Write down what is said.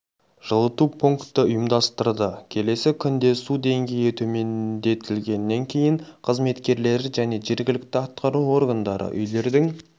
жылыту пунктті ұйымдастырды келесі күнде су деңгейі төмендетілгенінен кейін қызметкерлері және жергілікті атқару органдары үйлердің